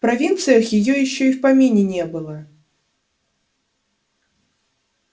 в провинциях её ещё и в помине не было